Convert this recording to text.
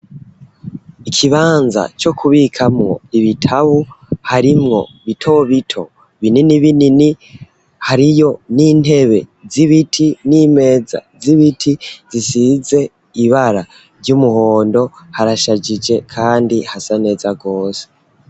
Ikibanza co kubikamwo ibitabu harimwo bito bito binini binini hariyo n'intebe z'ibiti n'imeza z'ibiti zisize ibara ry'umuhondo harashajije, kandi hasa neza rwose.